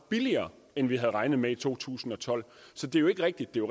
billigere end vi havde regnet med i to tusind og tolv så det er jo ikke rigtigt det er